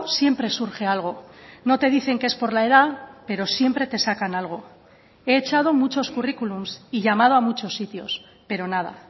siempre surge algo no te dicen que es por la edad pero siempre te sacan algo he echado muchos currículum y llamado a muchos sitios pero nada